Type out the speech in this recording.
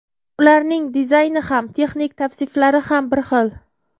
Ularning dizayni ham, texnik tavsiflari ham bir xil.